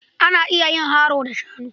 Ana iya yin haro da shanu.